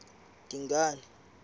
dingane